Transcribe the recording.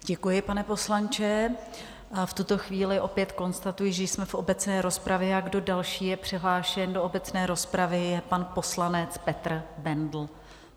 Děkuji, pane poslanče, a v tuto chvíli opět konstatuji, že jsme v obecné rozpravě, a kdo další je přihlášen do obecné rozpravy, je pan poslanec Petr Bendl.